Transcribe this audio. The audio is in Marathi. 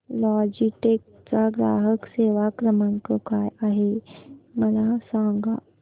लॉजीटेक चा ग्राहक सेवा क्रमांक काय आहे मला सांगा